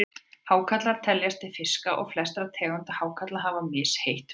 Hákarlar teljast til fiska og flestar tegundir hákarla hafa misheitt blóð.